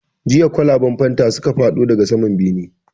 Jiya kwalaban fanta suka faɗo daga saman bene